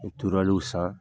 U turuwɛliw san